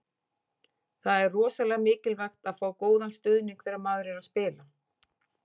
Það er rosalega mikilvægt að fá góðan stuðning þegar maður er að spila.